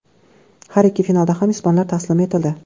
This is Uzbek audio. Har ikki finalda ham ispanlar taslim etildi.